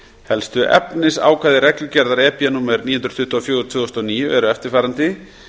helstu efnisákvæði reglugerðar númer níu hundruð tuttugu og fjögur tvö þúsund og níu eru eftirfarandi